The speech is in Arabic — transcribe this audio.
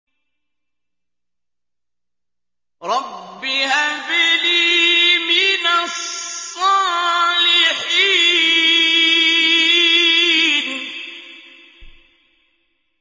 رَبِّ هَبْ لِي مِنَ الصَّالِحِينَ